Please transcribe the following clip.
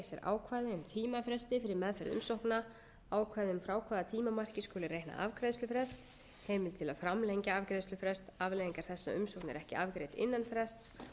um tímafresti fyrir meðferð umsókna ákvæði um frá hvaða tímamarki skuli reikna afgreiðslufrest heimild til að framlengja afgreiðslufrest afleiðingar þess að umsókn er ekki afgreidd innan frests